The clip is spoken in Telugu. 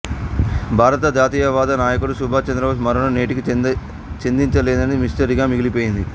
భారత జాతీయవాద నాయకుడు సుభాష్ చంద్రబోస్ మరణం నేటికీ ఛేదించలేని మిస్టరీగా మిగిలిపోయింది